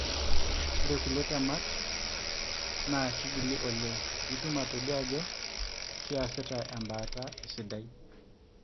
ore kulie temat na kingili oleng pitum atodua ajo kiasita embaata esidai.